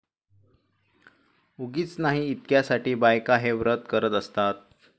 उगीच नाही इतक्या साठी बायका हे व्रत करत असतात